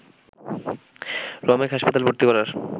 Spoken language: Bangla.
রমেক হাসপাতালে ভর্তি করার